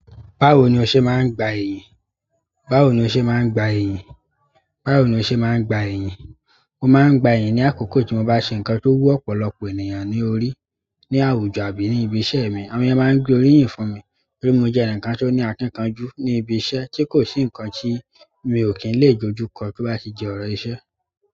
Báwo ni o ṣe máa ń gba ẹ̀yan. Báwo ni o ṣe máa ń gba ẹ̀yìn? Báwo ni o ṣe máa ń gba ẹ̀yìn? Mo máa ń gba ẹ̀yan ní àkókò tí mo bá ṣe nǹkan tó wú ọ̀pọ̀lọpọ̀ ènìyàn ní orí, ní àwùjọ àbí ní ibi iṣẹ́ mi. Àwọn èèyàn máa ń torí pé moje ẹnìkan tó ní akinkanju ní ibi iṣẹ́, tí kosi ikan tó mio kin dojúkọ tóbá ti di ọ̀rọ̀ iṣẹ́.